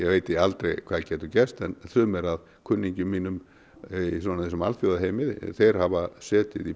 veit ég aldrei hvað getur gerst sumir af kunningjum mínum í þessum alþjóðlega heimi hafa setið í